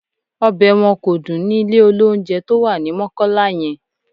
Ọbẹ̀ wọn kò dùn ni ilé-olóunjẹ tó wà ní Mọ́kọ́lá yẹn